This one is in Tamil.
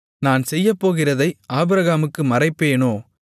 நான் செய்யப்போகிறதை ஆபிரகாமுக்கு மறைப்பேனோ